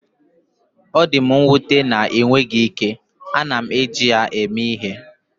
Ọ dị m nwute na ịnweghị ike, ana m eji ya eme ihe.